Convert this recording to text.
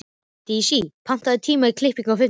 Dís, pantaðu tíma í klippingu á fimmtudaginn.